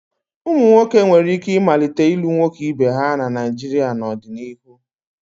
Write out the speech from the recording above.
Ụmụ nwoke nwere ike ịmalite ịlụ nwoke ibe ha na Naijiria n'ọdịnihu.